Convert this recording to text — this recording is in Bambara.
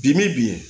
Bimin bi yen